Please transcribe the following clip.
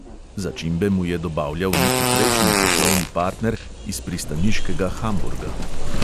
(začimbe mu je dobavljal neki prejšnji poslovni partner iz pristaniškega hamburga.)